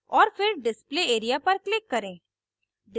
और फिर display area पर click करें